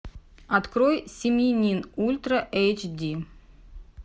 открой семьянин ультра эйч ди